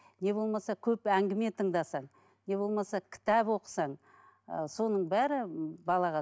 не болмаса көп әңгіме тыңдасаң не болмаса кітап оқысаң ы соның бәрі балаға